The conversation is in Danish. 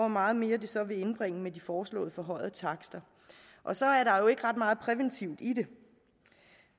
meget mere det så vil indbringe med de foreslåede forhøjede takster og så er der jo ikke ret meget præventivt i det